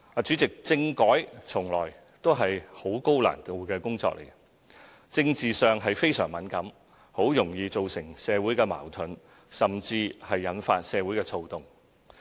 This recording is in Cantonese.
主席，政改從來也是十分高難度的工作，政治上非常敏感，十分容易造成社會矛盾，甚至引發社會躁動。